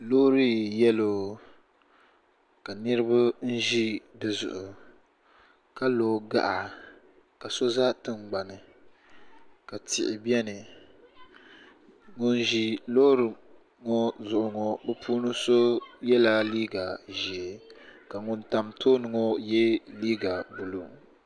Loori yelo ka niriba ʒi di zuɣu ka lo gaɣa ka so za tingbani ka tihi biɛni ŋun ʒi Loori ŋɔ zuɣu ŋɔ bɛ puuni so yela liiga ʒee ka ŋun tam tooni ŋɔ ye liiga buluu.